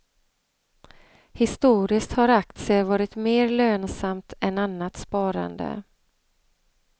Historiskt har aktier varit mer lönsamt än annat sparande.